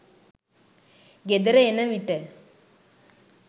ගෙදර එන විට